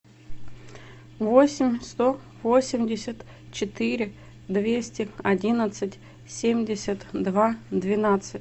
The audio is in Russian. восемь сто восемьдесят четыре двести одиннадцать семьдесят два двенадцать